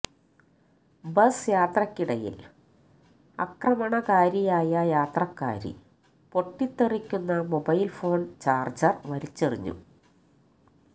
bus യാത്രക്കിടയിൽ അക്രമണകാരിയായ യാത്രക്കാരി പൊട്ടിത്തെറിക്കുന്ന മൊബൈൽ ഫോൺ ചാർജർ വലിച്ചെറിഞ്ഞു